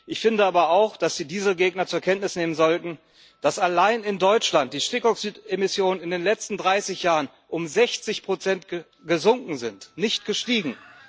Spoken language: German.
Ich finde aber auch, dass die Diesel Gegner zur Kenntnis nehmen sollten, dass allein in Deutschland die Stickoxidemissionen in den letzten 30 Jahren um 60 gesunken sind, nicht gestiegen.